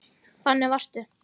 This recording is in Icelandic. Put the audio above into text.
Þannig varstu.